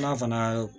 N'a fana ye